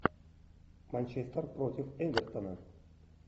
манчестер против эвертона